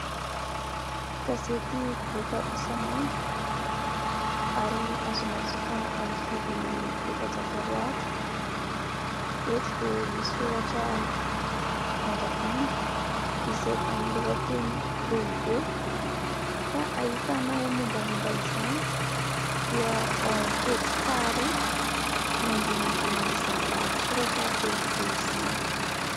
Gazety mivoaka isan'andro ary azonao jifaina amin'ny vidiny efajato ariary. Eto dia misoratra vandravandra izay amin'ny lohateny lehibe ka ahitanao mombamomba izany dia ao amin'ny pejy faharoa ny andinindin'izany lahatsoratra lehibe izany.